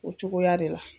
O cogoya de la